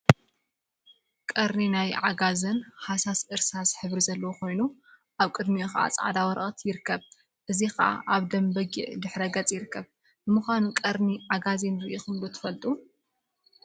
ቀርኒ ናይ ዓጋዜን ሃሳስ እርሳስ ሕብሪ ዘለዎ ኮይኑ፤ አብ ቅድሚኡ ከዓ ፃዕዳ ወረቀት ይርከብ፡፡ እዚ ከዓ አብ ደም በጊዕ ድሕረ ገፅ ይርከብ፡፡ ንምኳኑ ቀርኒ ዓጋዜን ሪኢኹም ዶ ትፈልጡ?